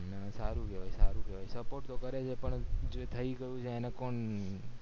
ને સારું કેવાય સારું કેવાય support કરે છે પણ જે થય ગયું એને કોણ